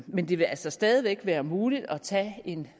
men det vil altså stadig væk være muligt at tage en